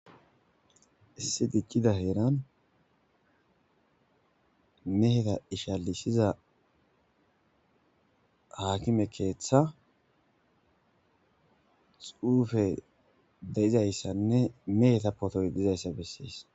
issi diccida heeran meheta ishalisiza haakime keeththa xuufe de7izayssanne meheta potoy dizayssa bessees